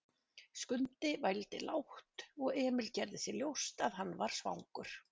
Skundi vældi lágt og Emil gerði sér ljóst að hann var svangur.